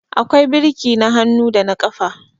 akwai birki na hannu da na ƙafa